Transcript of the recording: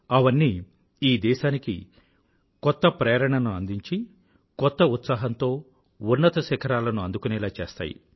అవన్నీ ఈ దేశానికి కొత్త ప్రేరణను అందించి కొత్త ఉత్సాహంతో ఉన్నత శిఖరాలను అందుకునేలా చేస్తాయి